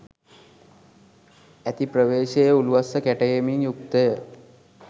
ඇති ප්‍රවේශයේ උළුවස්ස කැටයමින් යුක්තය